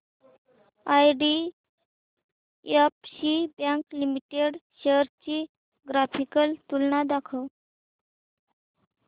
IDFC bank limited shares ची graphical तुलना दाखव